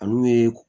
Ani u ye